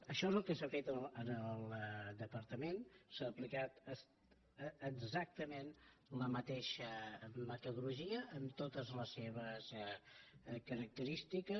això és el que s’ha fet en el departament s’ha aplicat exactament la mateixa metodologia amb totes les seves característiques